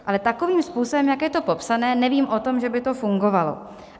Ale takovým způsobem, jak je to popsáno, nevím o tom, že by to fungovalo.